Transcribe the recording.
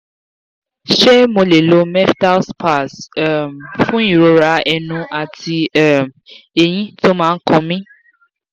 ṣé mo lè lo meftal spas um fún ìrora ẹnu àti um eyín tó ma n kan mi?